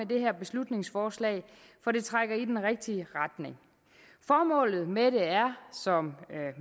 det her beslutningsforslag for det trækker i den rigtige retning formålet med det er som